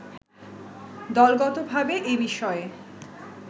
দলগতভাবে এ বিষয়ে